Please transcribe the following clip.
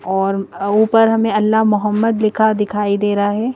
और ऊपर हमें अल्लाह मोहम्मद लिखा दिखाई दे रहा है।